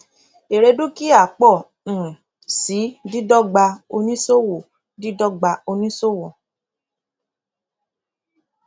èrè dúkìá pọ um si dídọgba oníṣòwò dídọgba oníṣòwò